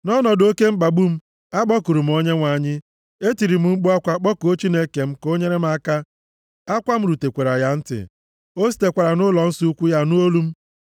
Nʼọnọdụ oke mkpagbu m, akpọkuru m Onyenwe anyị; etiri m mkpu akwa, kpọkuo Chineke m ka o nyere m aka; akwa m rutekwara ya ntị, o sitekwara nʼụlọnsọ ukwu ya nụ olu m.